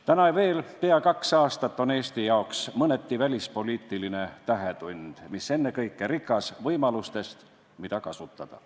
Täna ja veel peaaegu kaks aastat on Eesti jaoks mõneti välispoliitiline tähetund, mis ennekõike on rikas võimalustest, mida kasutada.